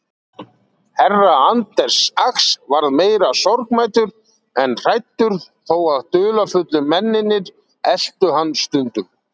Herra Anders Ax varð meira sorgmæddur en hræddur þó að dularfullu mennirnir eltu hann stundum.